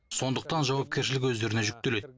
сондықтан жауапкершілік өздеріне жүктеледі